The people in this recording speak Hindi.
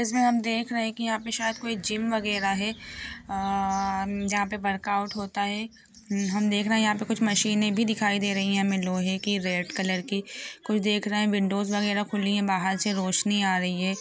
इसमे हम देख रहे है के यह पे शायद कोई जिम वगेरा है। अ म जहा पे वर्कआउट होता है म हम देख रहे है यह पे हमे कुछ मशीने भी दिखाई दे रही है। हमे लोहे की रेड कलर की कोई देख रहा है। विंडोज़ वगेरह खुली है। बाहर से रोशनी आ रही है।